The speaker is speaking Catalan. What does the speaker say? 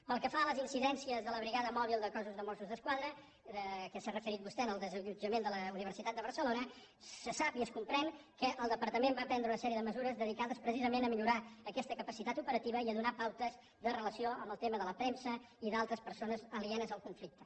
pel que fa a les incidències de la brigada mòbil del cos de mossos d’esquadra que s’hi ha referit vostè en el desallotjament de la universitat de barcelona se sap i es comprèn que el departament va prendre una sèrie de mesures dedicades precisament a millorar aquesta capacitat operativa i a donar pautes de relació en el tema de la premsa i d’altres persones alienes al conflicte